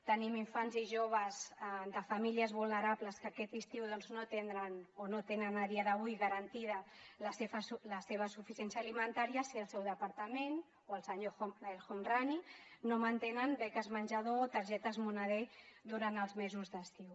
tenim infants i joves de famílies vulnerables que aquest estiu no tindran o no tenen a dia d’avui garantida la seva suficiència alimentària si el seu departament o el senyor el homrani no mantenen beques menjador targetes moneder durant els mesos d’estiu